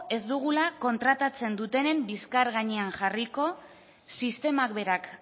ez dugula kontratatzen dutenen bizkar gainean jarriko sistemak berak